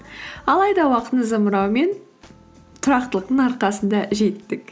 алайда уақыттың зымырауы мен тұрақтылықтың арқасында жеттік